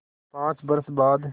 पाँच बरस बाद